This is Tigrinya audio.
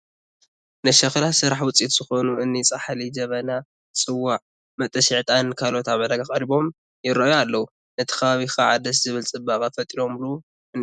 ናይ ሸኽላ ስራሕ ውፅኢት ዝኾኑ እኒ ፃሕሊ፣ ጀበና፣ ፅዋዕ፣ መጠሺ ዕጣንን ካልኦትን ኣብ ዕዳጋ ቀሪቦም ይርአዩ ኣለዉ፡፡ ነቲ ከባቢ ከዓ ደስ ዝብል ፅባቐ ፈጢሮሙሉ እኔዉ፡፡